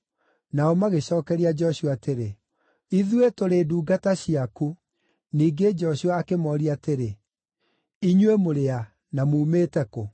Nao magĩcookeria Joshua atĩrĩ, “Ithuĩ tũrĩ ndungata ciaku.” Ningĩ Joshua akĩmooria atĩrĩ, “Inyuĩ mũrĩ a, na muumĩte kũ?”